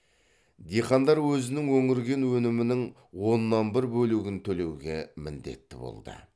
диқандар өзінің өңірген өнімінің оннан бір бөлігін төлеуге міндетті болды